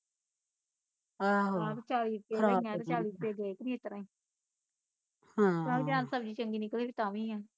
ਆਹ ਆਹ ਤੇ ਚਾਲੀ ਰੁਪਏ ਦੀਆਂ ਲਈਆ ਤੇ ਚਾਲੀ ਰੁਪਏ ਗਏ ਕੀ ਨਹੀਂ ਇਸਤਰਾਂ ਈ ਹਮ ਜੇ ਸਬਜ਼ੀ ਚੰਗੀ ਨਿਕਲੇ ਤਾਂ ਵੀ ਐ